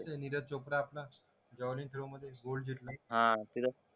नीरज चोपडा आपला जॉनीक रो मधे गोल्ड जिंतला